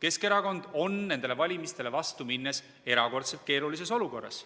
Keskerakond on nendele valimistele vastu minnes erakordselt keerulises olukorras.